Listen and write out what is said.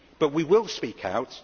But we will speak out.